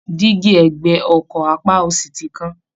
Dígí ẹ̀gbẹ́ ọkọ̀ apá òsì ti kán